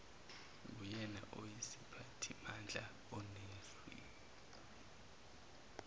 nguyena oyisiphathimandla onezwi